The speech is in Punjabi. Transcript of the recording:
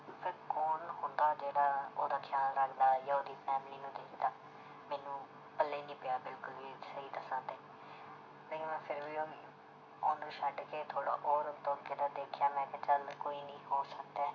ਫਿਰ ਕੌਣ ਹੁੰਦਾ ਜਿਹੜਾ ਉਹਦਾ ਖਿਆਲ ਰੱਖਦਾ ਜਾਂ ਉਹਦੀ family ਨੂੰ ਦੇਖਦਾ ਮੈਨੂੰ ਪੱਲੇ ਨੀ ਪਿਆ ਬਿਲਕੁਲ ਵੀ ਸਹੀ ਦੱਸਾਂ ਤੇ ਨਹੀਂ ਮੈਂ ਫਿਰ ਵੀ ਉਹ ਉਹਨੂੰ ਛੱਡ ਕੇ ਥੋੜ੍ਹਾ ਹੋਰ ਉਹ ਤੋਂ ਅੱਗੇ ਦਾ ਦੇਖਿਆ ਮੈਂ ਕਿਹਾ ਚੱਲ ਕੋਈ ਨੀ ਹੋ ਸਕਦਾ ਹੈ